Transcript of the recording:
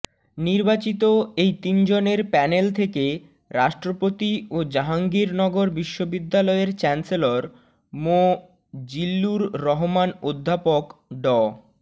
নির্বাচিত এই তিনজনের প্যানেল থেকে রাষ্ট্রপতি ও জাহাঙ্গীরনগর বিশ্ববিদ্যালয়ের চ্যান্সেলর মোঃ জিল্লুর রহমান অধ্যাপক ড